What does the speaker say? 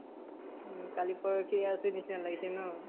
উম । কালি পৰসি আছে নিচিনা লাগিছে ন ?